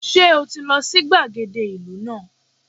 Sé o ti lo sí gbàgede ìlú náà